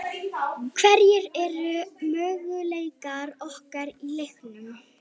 Hverjir eru möguleikar okkar í leiknum?